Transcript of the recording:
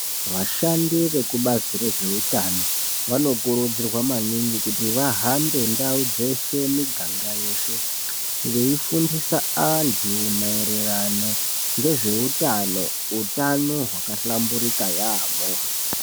Vashandi vekubazi rezveutano vanokurudzirwa maningi kuti vahambe ndau dzeshe miganga yeshe vaifundisa antu mairirano ngezveutano utano hwakahlamburika yamho.